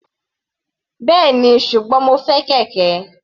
Bẹ́ẹ̀ni, ṣùgbọ́n mo fẹ́ kẹ̀kẹ́.